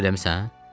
Nahar eləmisən?